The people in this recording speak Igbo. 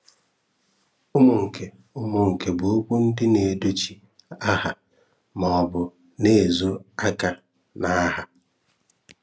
Umunke Umunke bu okwu ndi na-edochi aha ma o bu na-ezo aka na aha.